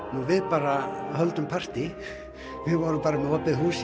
við bara höldum partí vorum með opið hús hér